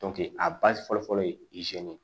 a ba fɔlɔ fɔlɔ ye ye